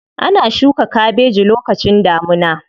Ana shuka kabeji lokacin damuna.